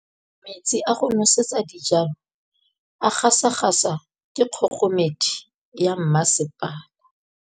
Metsi a go nosetsa dijalo a gasa gasa ke kgogomedi ya masepala.